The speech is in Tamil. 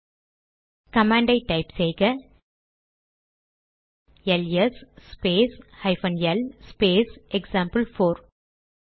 இப்போது கமாண்ட் டைப் செய்க LS space hyphen L space example four